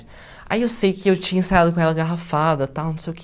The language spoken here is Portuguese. Aí eu sei que eu tinha ensaiado com ela garrafada, tal, não sei o que.